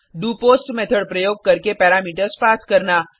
do post method प्रयोग करके parameters pass करना